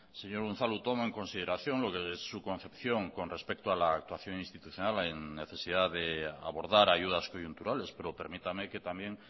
señor unzalu tomo en consideración lo que es su concepción con respecto a la actuación institucional en necesidad de abordar ayudas coyunturales pero permítame que también